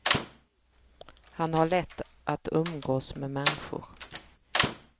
Han har lätt att umgås med människor.